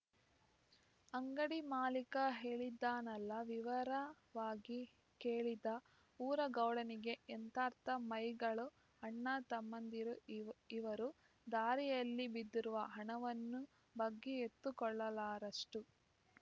ಅಂಗಡಿ ಮಾಲೀಕ ಹೇಳಿದ್ದನ್ನೆಲ್ಲಾ ವಿವರವಾಗಿ ಕೇಳಿದ ಊರ ಗೌಡನಿಗೆ ಎಂಥಾರ್ಥ ಮೈಗಳು ಅಣ್ಣತಮ್ಮಂದಿರು ಇವ ಇವರು ದಾರಿಯಲ್ಲಿ ಬಿದ್ದಿರುವ ಹಣವನ್ನು ಬಗ್ಗಿ ಎತ್ತಿಕೊಳ್ಳಲಾರದಷ್ಟು